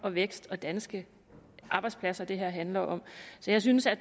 og vækst og danske arbejdspladser det her handler om så jeg synes at